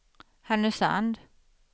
Härnösand